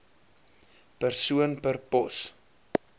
persoon per pos